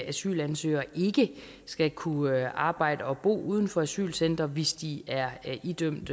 asylansøgere ikke skal kunne arbejde og bo uden for asylcentre hvis de er idømt